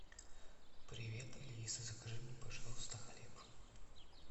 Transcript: привет алиса закажи мне пожалуйста хлеб